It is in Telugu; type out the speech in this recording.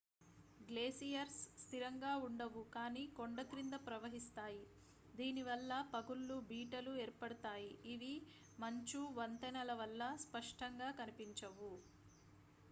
గ్లేసియర్స్ స్థిరంగా ఉండవు కానీ కొండ క్రింద ప్రవహిస్తాయి దీని వల్ల పగుళ్లు బీటలు ఏర్పడతాయి ఇవి మంచు వంతెనల వల్ల స్పష్టంగా కనిపించవు